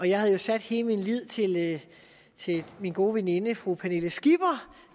jeg havde jo sat hele min lid til min gode veninde fru pernille skipper